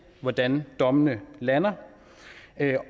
hvordan dommene lander